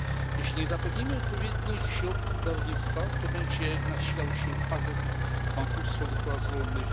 Jeśli nie zapewnimy odpowiednich środków dla rolnictwa, to będzie nasilał się upadek, bankructwo gospodarstw rolnych.